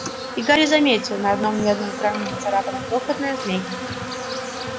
и гарри заметил на одном медном кране нацарапана крохотная змейка